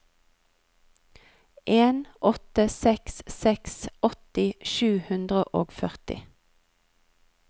en åtte seks seks åtti sju hundre og førti